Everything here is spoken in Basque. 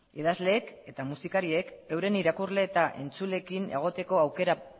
idazleek eta musikariek euren irakurle eta entzuleekin egoteko aukera